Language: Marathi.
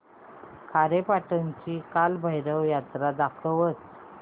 खारेपाटण ची कालभैरव जत्रा दाखवच